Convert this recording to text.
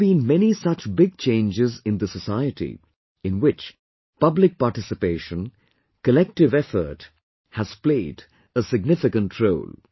There have been many such big changes in the society, in which public participation, collective effort, has played a significant role